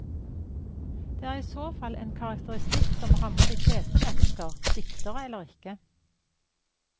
Det er i så fall en karakteristikk som rammer de fleste mennesker, diktere eller ikke.